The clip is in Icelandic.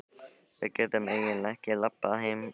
Við getum eiginlega ekki labbað heim, Arnar.